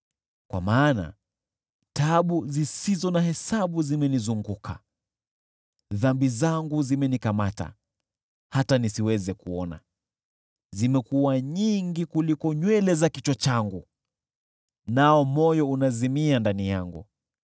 Kwa maana taabu zisizo na hesabu zimenizunguka, dhambi zangu zimenikamata, hata nisiweze kuona. Zimekuwa nyingi kuliko nywele za kichwa changu, nao moyo unazimia ndani yangu.